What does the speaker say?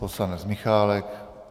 Poslanec Michálek.